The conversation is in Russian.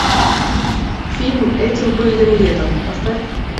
фильм этим пыльным летом поставь